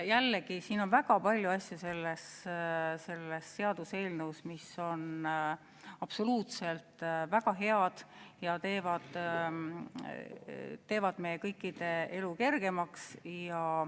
Jällegi, selles seaduseelnõus on väga palju asju, mis on absoluutselt väga head ja teevad meie kõikide elu kergemaks.